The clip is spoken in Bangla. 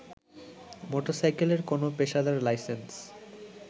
মোটরসাইকেলের কোনো পেশাদার লাইসেন্স